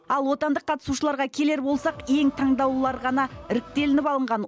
ал отандық қатысушыларға келер болсақ ең таңдаулылары ғана іріктелініп алынған